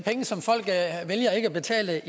her